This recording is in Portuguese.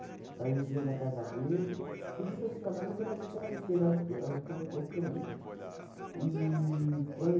Então a gente vinha da Casa Verde, tudo isso eu estou te falando quando a gente era pequena, que é o que eu pouco que eu lembro. E quando e